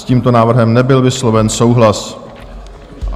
S tímto návrhem nebyl vysloven souhlas.